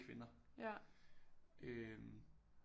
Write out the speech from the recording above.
Kvinder øh